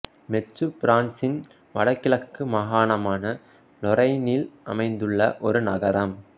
மெட்சு பிரான்சின் வடகிழக்கு மாகாணமான லொரைனில் அமைந்துள்ள ஒரு நகரம்